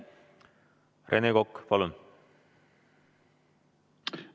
Rene Kokk, palun!